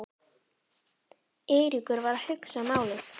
Eiríkur var að hugsa málið.